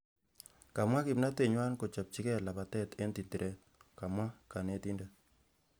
Kamwa kimnatet nywa kochopchingei lapatet eng tindiret. kamwa kanetindet